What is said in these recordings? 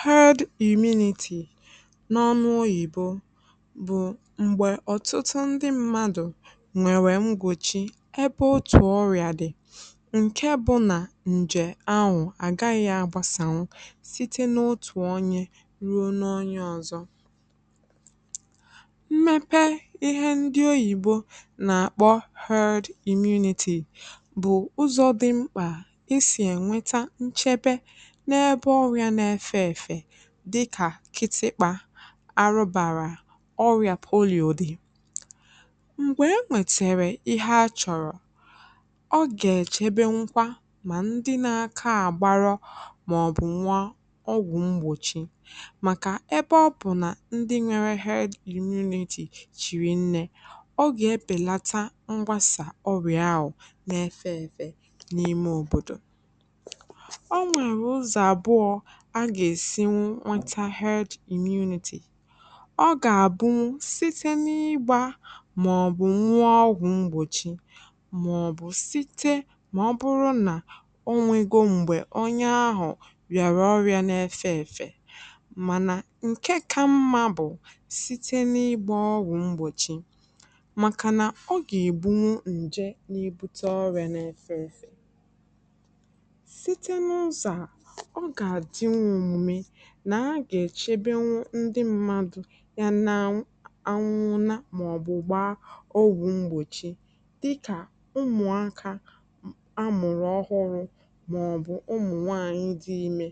herd immunity n’ọnụ oyìbo bụ̀ m̀gbẹ̀ ọ̀tụtụ ndị mmadù nwẹ̀rẹ̀ mgbòchi ẹbẹ otù ọrịā dị, ǹkẹ bụ nà ǹjẹ̀ ahụ̀ àgaghị agbasanwu, site nà otù onye, ruo n’onye ọzọ. mmẹpẹ ịhẹ ndị oyìbo nà àkpọ herd immunity bụ̀ ụzọ̄ dị mkpà e sì ẹ̀nwẹta nchẹbẹ, n’ẹbẹ ọrịā na aẹfẹ ẹ̀fẹ̀, dịkà kitịkpā, arụbāra, ọrị̀à polio dị̀. m̀gbẹ̀ ẹ nwẹ̀tẹ̀rẹ̀ ịhẹ a chọ̀rọ̀, ọ gạ̀ ẹ̀chẹbẹnwukwa, mà ndị na aka àgbarọ mà ọ̀ bụ nwụa ọgwụ̀ mgbòchi, màkà ẹbẹ ọ bụ̀ nà ndị nwẹrẹ herd immunity chirì nnẹ̄, ọ gà ebèlata mgbasà ọrịà ahụ na ẹfẹ ẹfẹ n’ime òbòdò. ọ nwẹ̀rẹ̀ ụzọ̀ àbụọ a gà èsinwu nwẹta herd immunity. ọ gà àbụnwu site n’ịgbā mà ọ̀ bụ nwụọ ọgwụ̀ mgbòchi, site, mà ọ bụrụ nad ọ nwẹgo m̀gbẹ̀ onye ahụ̀ riàrà ọrịā na ẹfẹ̄ ẹ̀fẹ̀. mànà ǹkẹ ka mmā bụ̀ site n’ịgbā ọgwụ̀ mgbòchi. ọ gà ègbunwu ǹjẹ na ebute ọrịā na ẹfẹ̄ ẹ̀fẹ̀. site n’ụzọ̄ à, ọ gà àdịnwu omume, nà a gà èchebenwu ndị mmadù ya na anwụnwụna, mà ọ̀ bụ̀ gba ọgwụ̄ mgbòchi, dịkà ọgwụ̀ ụmụ̀akā amụ̀rụ̀ ọhụrụ̄, mà ọ̀ bụ̀ ụmụ̀ nwanyị dị imē,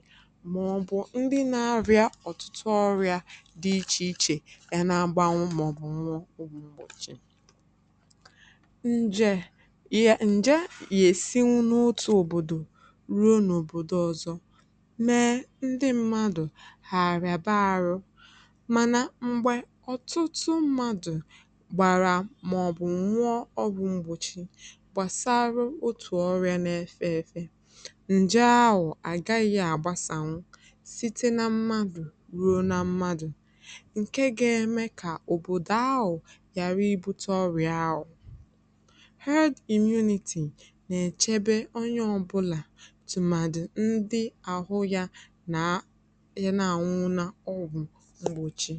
mà ọ̀ bụ̀ ndị na arị̄a ọ̀tụtụ ọrị̀à dị ichè ichè y ana gbanwu mà ọ̀ bụ̀ nụ̃ọ ọgwụ̄ mgbòchi. ǹjẹ̀ ǹjẹ yà èsinwu n’otū òbòdò ruo n’òbòdo ọzọ, mẹ ndị mmadù hà àrị̀àba arụ̄, mànà m̀gbè ọ̀tụtụ mmadù gbàrà mà ọ̀ bụ̀ nwuọ ọgwụ̄ mgbòchi gbasara otù ọrịa na ẹfẹ ẹfẹ, ǹjẹ ahụ̀ àgaghị agbasànwu, site na mmadù ruo na mmadù, ǹkẹ ga ẹmẹ kà òbòdò ahụ̀ ghàra ibūte ọrị̀à ahụ̀. herd immunity nà ẹ̀chẹbẹ onye ọbụlà, tụ̀màdị onye ahụ yay a nà àñụñụna ọgwụ̄ mgbòchi.